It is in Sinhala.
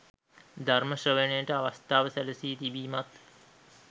ධර්ම ශ්‍රවණයට අවස්ථාව සැලසී තිබීමත්